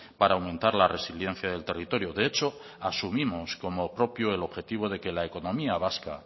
para aumentar la resiliencia del territorio de hecho asumimos como propio el objetivo de que la economía vasca